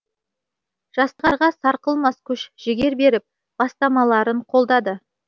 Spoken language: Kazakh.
жастарға сарқылмас күш жігер беріп бастамаларын қолдады